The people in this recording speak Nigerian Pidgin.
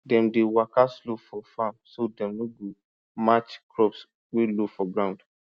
dem dey waka slow for farm so dem no go match crops wey low for ground